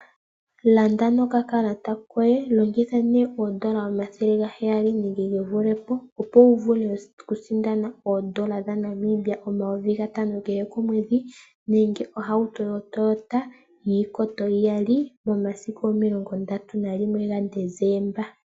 Landa noka kalata koye longitha nee oodola omathele ga heyali nenge gevule po, opo wu vule oku sinda oodola dha Namibia omayovi 5000 kehe komwedhi nenge ohauto yo toyota yiikoto iyali momasiku no 31 Deseemba 2025.